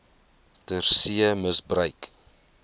ter see misbruik